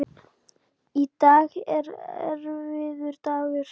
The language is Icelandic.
Í dag er erfiður dagur.